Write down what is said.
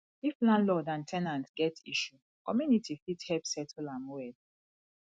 if landlord and ten ant get issue community fit help settle am well